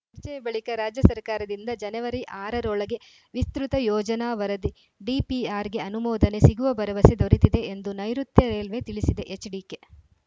ಚರ್ಚೆಯ ಬಳಿಕ ರಾಜ್ಯ ಸರ್ಕಾರದಿಂದ ಜನವರಿ ಆರ ರೊಳಗೆ ವಿಸ್ತೃತ ಯೋಜನಾ ವರದಿಡಿಪಿಆರ್‌ಗೆ ಅನುಮೋದನೆ ಸಿಗುವ ಭರವಸೆ ದೊರೆತಿದೆ ಎಂದು ನೈಋುತ್ಯ ರೈಲ್ವೆ ತಿಳಿಸಿದೆ ಎಚ್‌ಡಿಕೆ